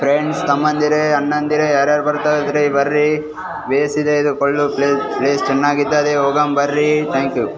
Friends ತಮ್ಮಂದಿರೆ ಅಣ್ಣಂದಿರೆ ಯಾರ್ಯಾರ್ ಬರ್ತಾಇದಿರಿ ಬರ್ರೀ ಬೇಸಿದೆ ಇದು ಕಳ್ಳು ಪ್ಳೆ ಪ್ಲೇಸ್ ಚೆನ್ನಾಗಿದೆ ಹೋಗೋಣ್ ಬರ್ರೀ ಥಾಂಕ್ಯೂ .